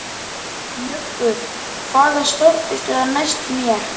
Muggur, hvaða stoppistöð er næst mér?